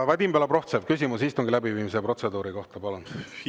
Vadim Belobrovtsev, küsimus istungi läbiviimise protseduuri kohta, palun!